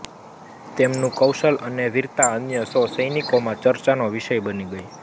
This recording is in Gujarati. તેમનું કૌશલ અને વીરતા અન્ય સૌ સૈનિકોમાં ચર્ચાનો વિષય બની ગઈ